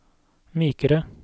mykere